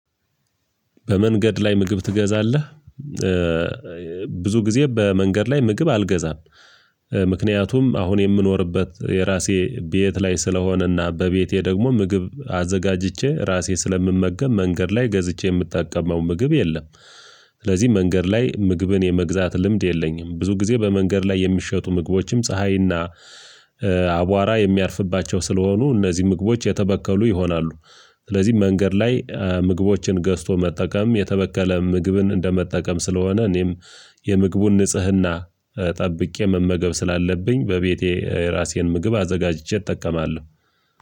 በመንገድ ላይ ምግብ ትገዛለህ? ብዙ ጊዜ በመንገድ ላይ ምግብ አልገዛም። ምክንያቱም አሁን የምኖርበት የራሴ ቤት ላይ ስለሆነና በቤቴ ደግሞ ምግብ አዘጋጅቼ ራሴ ስለምመገብ መንገድ ላይ ገዝቼ የምጠቀመው ምግብ የለም። ስለዚህ መንገድ ላይ ምግብን የመግዛት ልምድ የለኝም። ብዙ ጊዜ በመንገድ ላይ የሚሸጡ ምግቦችም ፀሀይና አቧራ የሚያርፍባቸው ስለሆኑ እነዚህ ምግቦች የተበከሉ ይሆናሉ። ስለዚህ መንገድ ላይ ምግቦችን ገዝቶ መጠቀም የተበከለ ምግብን እንደመጠቀም ስለሆነ እኔም የምግቡን ንጽህና ጠብቄ መመገብ ስላለብኝ በቤቴ ራሴን ምግብ አዘጋጅቼ እጠቀማለሁ።